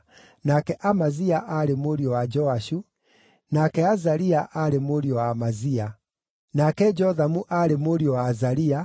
nake Amazia aarĩ mũriũ wa Joashu, nake Azaria aarĩ mũriũ wa Amazia, nake Jothamu aarĩ mũriũ wa Azaria,